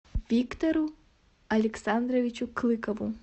виктору александровичу клыкову